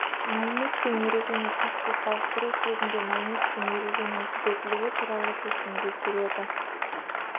мәлімет пен ережені сәтсіз салыстыру кезінде мәлімет пен ереженің түзетілуі туралы шешіге келеді